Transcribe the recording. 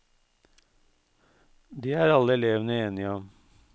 Det er alle elevene enige om.